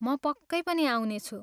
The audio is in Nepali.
म पक्कै पनि आउनेछु।